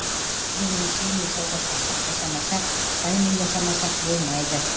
біз ресеймен сауда саттық жасамасақ қытаймен жасамасақ болмайды